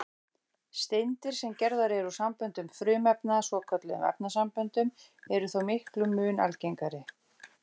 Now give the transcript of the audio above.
Steindir, sem gerðar eru úr samböndum frumefna, svokölluðum efnasamböndum, eru þó miklum mun algengari.